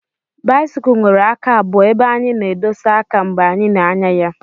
Báịsikụ nwèrè àká abụo ébé anyị na-édosa àká mgbe anyị na-ànyà ya